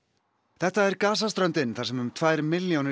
þetta er Gaza ströndin þar sem um tvær milljónir